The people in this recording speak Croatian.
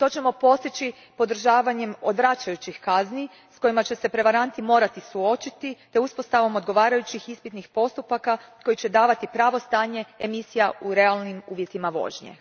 To ćemo postići podržavanjem odvraćajućih kazni s kojima će se prevaranti morati suočiti te uspostavom odgovarajućih ispitnih postupaka koji će davati pravo stanje emisija u realnim uvjetima vožnje.